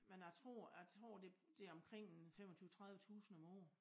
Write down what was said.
Men jeg tror jeg tror det omkring en 25 30 tusind om året